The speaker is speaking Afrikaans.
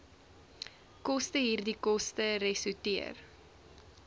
kostehierdie koste resorteer